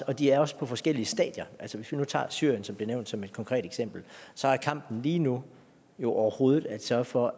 og de er også på forskellige stadier hvis vi nu tager syrien som blev nævnt som et konkret eksempel så er kampen lige nu jo overhovedet at sørge for